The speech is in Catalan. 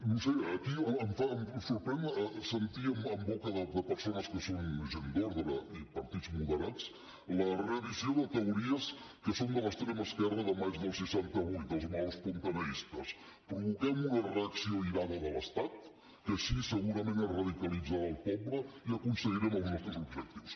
no ho sé aquí em sorprèn sentir en boca de persones que són gent d’ordre i partits moderats la reedició de teories que són de l’extrema esquerra del maig del seixanta vuit dels maoespontaneistes provoquem una reacció airada de l’estat que així segurament es radicalitzarà el poble i aconseguirem els nostres objectius